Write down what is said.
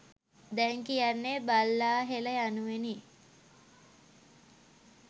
දැන් කියන්නේ බල්ලාහෙළ යනුවෙනි.